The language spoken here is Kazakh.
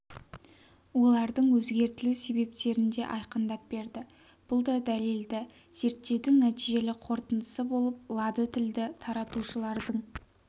олардың өзгертілу себептерін де айқындап берді бұл да дәлелді зерттеудің нәтижелі қорытындысы болып лады тілді таратушылардың